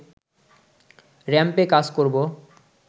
র‌্যাম্পে কাজ করব